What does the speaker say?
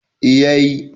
eh ya yi